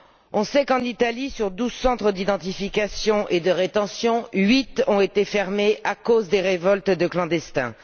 Nous savons qu'en Italie, sur 12 centres d'identification et de rétention, 8 ont été fermés à cause des révoltes de clandestins.